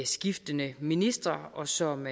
skiftende ministre og som